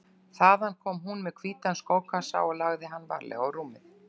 Þaðan kom hún með hvítan skókassa og lagði hann varlega á rúmið.